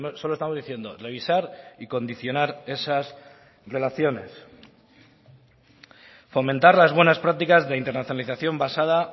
solo estamos diciendo revisar y condicionar esas relaciones fomentar las buenas prácticas de internalización basada